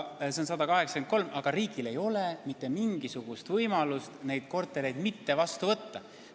See arv on 183 ja riigil ei ole mitte mingisugust võimalust neid kortereid mitte vastu võtta.